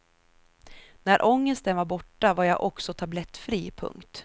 När ångesten var borta var jag också tablettfri. punkt